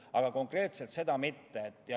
Aga konkreetselt seda teemat mitte.